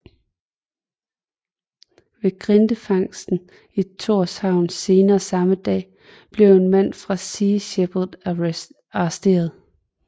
Ved grindefangsten i Tórshavn senere samme dag blev en mand fra Sea Shepherd arresteret